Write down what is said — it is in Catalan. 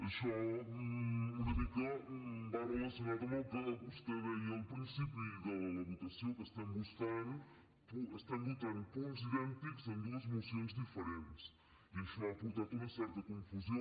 això una mica va relacionat amb el que vostè deia al principi de la votació que estem votant punts idèntics en dues mocions diferents i això ha portat una certa confusió